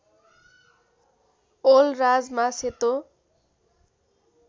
ओल राजमा सेतो